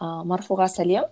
ыыы марфуға сәлем